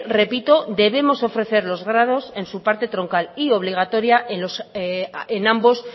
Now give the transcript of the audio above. repito debemos ofrecer los grados en su parte troncal y obligatoria en ambos